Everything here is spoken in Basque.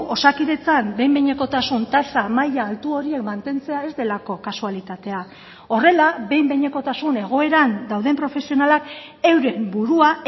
osakidetzan behin behinekotasun tasa maila altu horiek mantentzea ez delako kasualitatea horrela behin behinekotasun egoeran dauden profesionalak euren burua